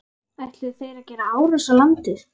Ætluðu þeir að gera árás á landið?